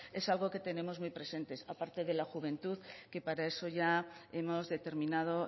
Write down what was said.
es algo que tenemos muy presente aparte de la juventud que para eso